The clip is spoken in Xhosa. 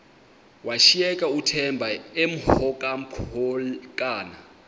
washiyeka uthemba emhokamhokana